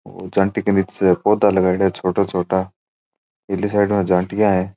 जान्टी के नीचे पौधा लगायेड़ा है छोटा छोटा इली साइड में जाटिया है।